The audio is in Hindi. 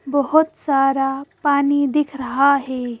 बहोत सारा पानी दिख रहा है।